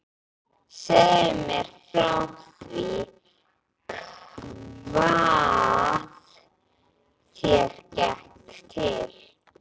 Segðu mér þá frá því hvað þér gekk til.